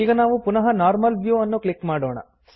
ಈಗ ನಾವು ಪುನಃ ನಾರ್ಮಲ್ ವ್ಯೂ ಅನ್ನು ಕ್ಲಿಕ್ ಮಾಡೋಣ